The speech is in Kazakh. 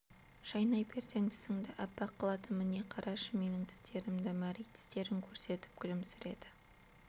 шайнай берсең тісіңді аппақ қылады міне қарашы менің тістерімді мәри тістерін көрсетіп күлімсіреді